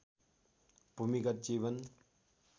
भूमिगत जीवन